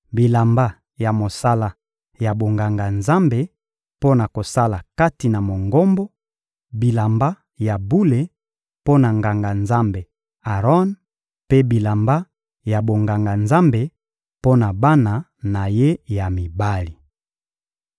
bilamba ya mosala ya bonganga-Nzambe mpo na kosala kati na Mongombo, bilamba ya bule mpo na Nganga-Nzambe Aron mpe bilamba ya bonganga-Nzambe mpo na bana na ye ya mibali.»